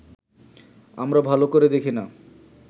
আমরা ভালো করে দেখি না